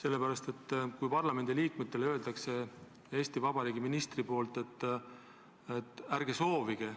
Eesti Vabariigi minister ütleb parlamendiliikmetele, et ärge soovige,